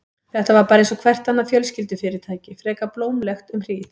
Þetta var bara einsog hvert annað fjölskyldufyrirtæki, frekar blómlegt um hríð.